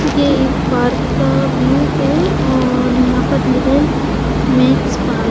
ये एक पार्क का व्यू है और यहा पर लिखा है मेक्स पार--